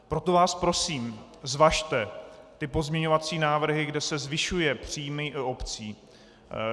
Proto vás prosím, zvažte ty pozměňovací návrhy, kde se zvyšují příjmy obcí.